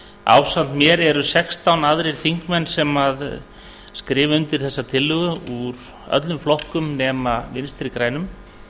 ásamt mér eru sextán aðrir þingmenn sem skrifa undir þessa tillögu úr öllum flokkum nema vinstri grænum